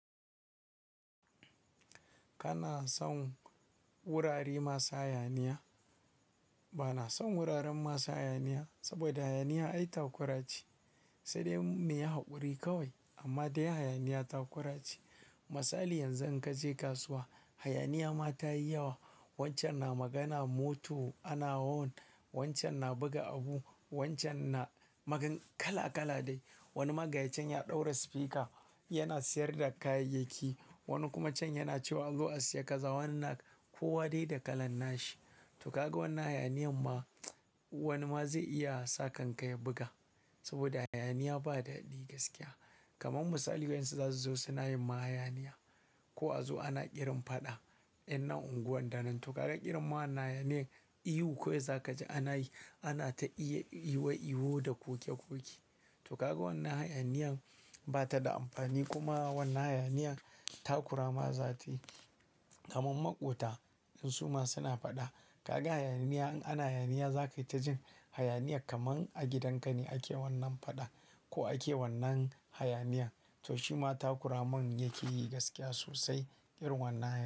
Kana son wurare masu hayaniya? Ba na son wuraren masu hayaniya, saboda hayaniya ita kura ce, sai dai me ya haƙuri kawai amma dai hayaniya ta kura ce. Misali yanzu in ka je kasuwa, hayaniya ma ta yi yawa. Kana son wurare masu hayaniya? Ba na son wuraren masu hayaniya, saboda hayaniya ita kura ce, sai dai me ya haƙuri kawai amma dai hayaniya ta kura ce. Misali yanzu in ka je kasuwa, hayaniya ma ta yi yawa. Wani magajin ya ɗaura speaker yana sayar da kayayyaki, wani kuma can yana cewa "azo asiya ka za wannan" ko wa dai da kalan nashi. To kaga wannan hayaniyan ma, wani ma zai iya sa kanka ya buga. Saboda hayaniya ba daɗi gaskiya. Kaman misali yanzu za su zo suna yin ma hayaniya. Ko a zu ana ƙirin faɗa, yan nan unguwar nan. To kaga ƙirin wa hayaniyen ihu kawai za ka ji ana yi, ana ta ihu ihu da ƙoke ƙoke. To kaga wannan hayaniyan ba ta da amfani kuma wannan hayaniya ta kura ma za ta yi. Kaman maƙwuta in suma suna faɗa, kaga hayaniya in ana hayaniya za ka yi ta jin hayaniya kaman a gidanka ne ake wannan faɗa ko ake wannan hayaniyan. To shi ma ta kuraman yake yi gaskiya sosai irin wannan.